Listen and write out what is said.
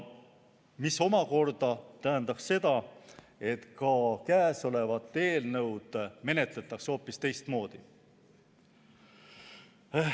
See omakorda tähendab seda, et ka käesolevat eelnõu menetletaks hoopis teistmoodi.